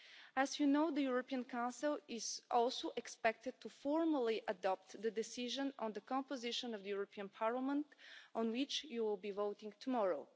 As you know, the European Council is also expected formally to adopt the decision on the composition of the European Parliament, on which you will be voting tomorrow.